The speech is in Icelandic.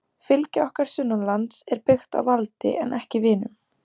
Fylgi okkar sunnanlands er byggt á valdi en ekki vinum.